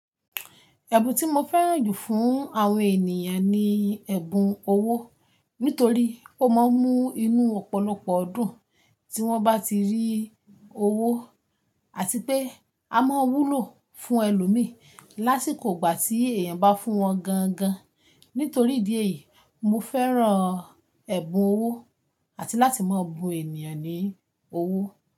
Ẹ̀bùn tí mo fẹ́ràn jù fún àwọn ènìyàn ni ẹ̀bùn owó nítorí ó máa ń mú inú ọ̀pọ̀lọpọ̀ dún tí wọ́n bá ti rí owó àti pé a máa ń wúlò fún ẹlòmíí lásìkò ìgbà tí èèyàn bá fún wọn gangan. Nítorí ìdí èyí, mo fẹ́ràn ẹ̀bùn owó àti láti máa bun ènìyàn ní owó.